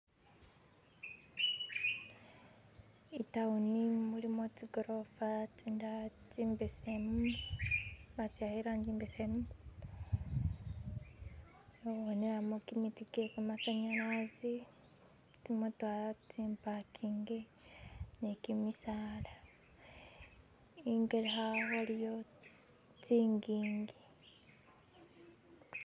i'tawuni mulimo tsi'gorofa tsindala tsimbesemu batsiwakha i'rangi imbesemu khembonelamo kimiti kyekamasanyalasi tsimotokha tsi mpakinge ne kimisala ingelekha waliyo tsingingi .